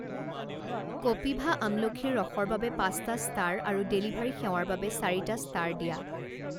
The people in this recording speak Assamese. কপিভা আমলখিৰ ৰসৰ বাবে পাঁচটা ষ্টাৰ আৰু ডেলিভাৰী সেৱাৰ বাবে চাৰিটা ষ্টাৰ দিয়া।